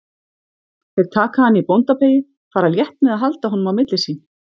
Þeir taka hann í bóndabeygju, fara létt með að halda á honum á milli sín.